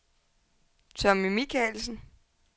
Tommy Michaelsen